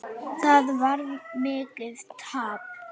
Það varð mikið tap.